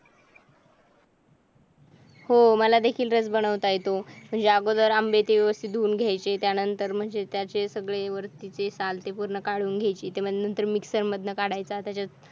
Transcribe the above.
हो मला भेटून रस बनवता येते म्हणजे अगोदर आंबे आणले ते व्यवस्थित धुऊन घ्यायचे त्यानंतर म्हणजे त्याचे सगळे वरती ते साल ते पूर्ण काढून घ्यायचे ते माग मिक्सर मरणानंतर काढायचे